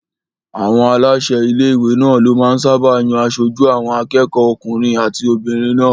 Àwọn aláṣẹ ilé-ìwé náà ló máa ń sáábà yan aṣojú àwọn akẹ́kọ̀ọ́ okùnrin àti obìnrin náà